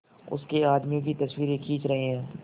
उसके आदमियों की तस्वीरें खींच रहे हैं